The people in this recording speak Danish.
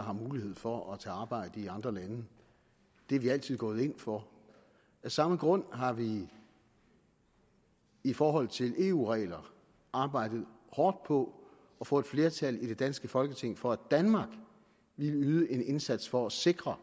har mulighed for at tage arbejde i andre lande det er vi altid gået ind for af samme grund har vi i forhold til eu regler arbejdet hårdt på at få et flertal i det danske folketing for at danmark ville yde en indsats for at sikre